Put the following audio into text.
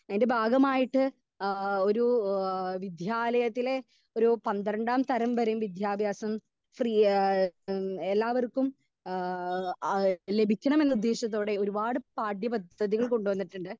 speaker 2 ഇന്റെ ഭാഗമായിട്ട് ഏഹ് ഒരു ഏഹ് വിദ്യാലയത്തിലെ ഒരു പന്ത്രണ്ടാം തരം വരെ വിദ്യാഭ്യസം ശ്രീ യെ ഉം എല്ലാവർക്കും ഏഹ് ആ ലഭിക്കണമെന്ന് ഉദ്ദേശത്തോടെ ഒരുപാട് പാഠ്യ പദ്ധതികൾ കൊണ്ട് വന്നിട്ടുണ്ട്